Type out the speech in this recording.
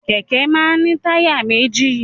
Kẹ̀kẹ́ máa ń ní táyà méjì.